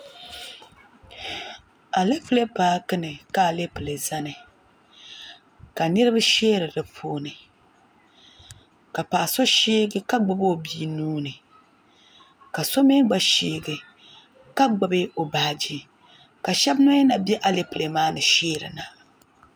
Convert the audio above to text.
Alapilee paaki ni ka Alapilee zani ka niriba sheeri dipuuni ka paɣa so sheegi ka gbibi o bia nua ni ka so mee gna sheegi ka gbibi o baaji ka sheba mee na be Alapilee maa ni sheerina.